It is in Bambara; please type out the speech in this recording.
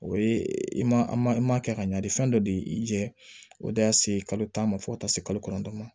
O ye i ma i ma kɛ ka ɲani fɛn dɔ de y'i jɛ o de y'a se kalo tan ma fo ka taa se kalo kɔnɔntɔn ma